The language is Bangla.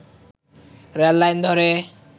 রেল লাইন ধরে